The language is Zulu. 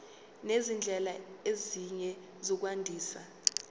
nezindlela ezinye zokwandisa